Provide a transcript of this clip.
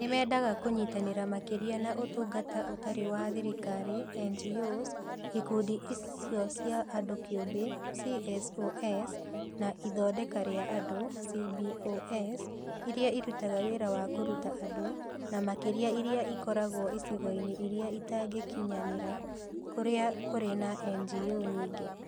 Nĩ mendaga kũnyitanĩra makĩria na Ũtungata Ũtarĩ wa Thirikari (NGOs), Ikundi icio cia andũ kĩũmbe (CSOs), na Ithondeka rĩa Andũ (CBOs) iria irutaga wĩra wa kũruta andũ, na makĩria iria ikoragwo icigo-inĩ iria itangĩkinyanĩra kũrĩa kũrĩ na NGO nyingĩ.